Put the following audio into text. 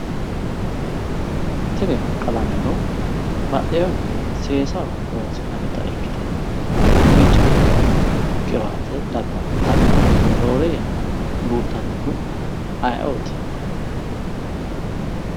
tinni qalaameno bxxehuni seesahi ikkite bicca qiwaati labbanota rorre yana buuxanori ayiootti